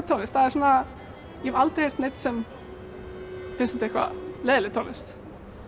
tónlist það er svona ég hef aldrei heyrt neinn sem finnst þetta leiðinleg tónlist